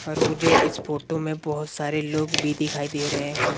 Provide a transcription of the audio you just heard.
और मुझे इस फोटो में बहुत सारे लोग भी दिखाई दे रहे हैं।